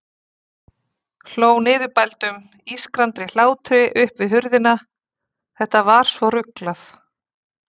Hló niðurbældum, ískrandi hlátri upp við hurðina, þetta var svo ruglað.